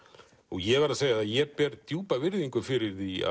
ég verð að segja að ég ber djúpa virðingu fyrir því